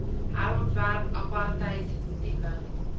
herontwerp apartheid tipe